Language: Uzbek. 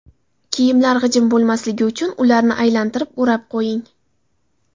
Kiyimlar g‘ijim bo‘lmasligi uchun ularni aylantirib o‘rab qo‘ying.